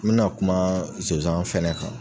N min kuma zozan fɛnɛ kan